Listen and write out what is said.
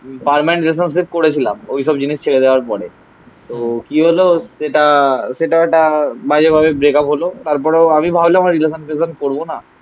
Permanent relationship করেছিলাম. ওইসব জিনিস ছেড়ে দেওয়ার পরে তো কি হলো সেটা সেটাও একটা বাজে ভাবে ব্রেকআপ হলো. তারপরেও আমি ভাবলাম আর রিলেশান ফিলেশান করবো না.